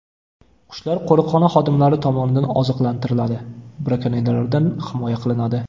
Qushlar qo‘riqxona xodimlari tomonidan oziqlantiriladi, brakonyerlardan himoya qilinadi.